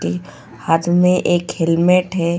के हाथ में एक हेलमेट है.